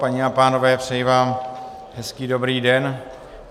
Paní a pánové, přeji vám hezký dobrý den.